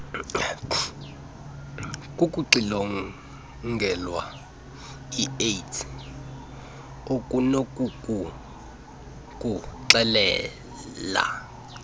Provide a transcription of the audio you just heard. kukuxilongelwa iaids okunokukuxelela